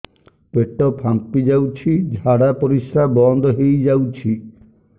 ପେଟ ଫାମ୍ପି ଯାଉଛି ଝାଡା ପରିଶ୍ରା ବନ୍ଦ ହେଇ ଯାଉଛି